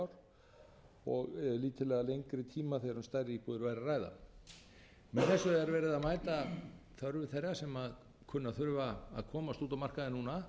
ár eða lítillega lengri tíma þegar um stærri íbúðir væri að ræða með þessu er verið að mæta þörfum þeirra sem kunna að þurfa að komast út á markaðinn núna